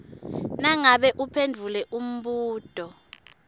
nangabe uphendvule umbuto